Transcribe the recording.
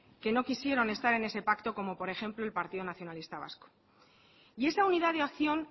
que no quisieron estar en ese pacto como por ejemplo el partido nacionalista vasco y esa unidad de acción